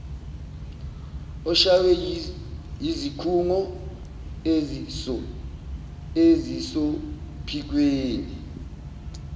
oshaywe yizikhungo ezisophikweni